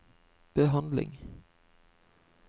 behandling